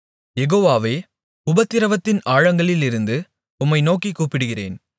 யெகோவாவே உபத்திரவத்தின் ஆழங்களிலிருந்து உம்மை நோக்கிக் கூப்பிடுகிறேன்